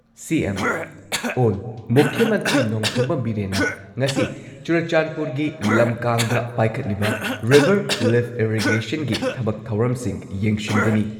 CM. ꯑꯣꯜ ꯃꯨꯈ꯭ꯌ ꯃꯟꯇ꯭ꯔꯤ ꯅꯣꯡꯊꯣꯝꯕꯝ ꯕꯤꯔꯦꯟꯅ ꯉꯁꯤ ꯆꯨꯔꯆꯥꯟꯗꯄꯨꯔꯒꯤ ꯂꯝꯀꯥꯡꯗ ꯄꯥꯏꯈꯠꯂꯤꯕ ꯔꯤꯚꯔ ꯂꯤꯐꯠ ꯏꯔꯤꯒꯦꯁꯟꯒꯤ ꯊꯕꯛ ꯊꯧꯔꯝꯁꯤꯡ ꯌꯦꯡꯁꯤꯟꯒꯅꯤ꯫